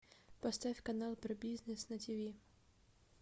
поставь канал про бизнес на тв